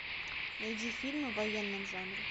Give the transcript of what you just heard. найди фильмы в военном жанре